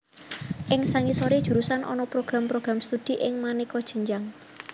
Ing sangisoré jurusan ana program program studi ing manéka jenjang